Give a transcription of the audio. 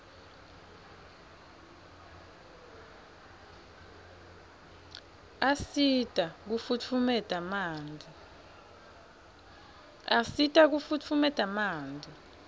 asita kufutfumeta manti